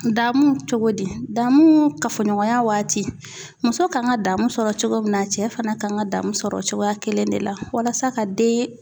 Damu cogodi danmu kafoɲɔgɔnya waati muso kan ka danmu sɔrɔ cogo min na, cɛ fana kan ka danmu sɔrɔ cogoya kelen de la walasa ka den